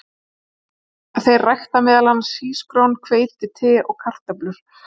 Þeir rækta meðal annars hrísgrjón, hveiti, te og kartöflur.